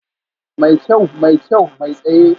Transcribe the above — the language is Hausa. Mai kyau, mai kyau, mai tsaye